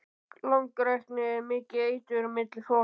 Langrækni er mikið eitur milli fólks.